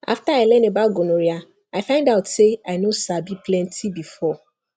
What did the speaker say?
after i learn about gonorrhea i find out say i no sabi plenty before